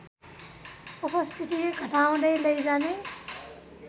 उपस्थिति घटाउँदै लैजाने